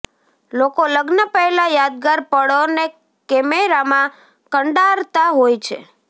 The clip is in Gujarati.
લોકો લગ્ન પહેલાં યાદગાર પળોને કેમેરામાં કંડારતાં હોય છે